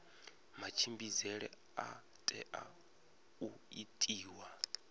matshimbidzele a tea u itiwa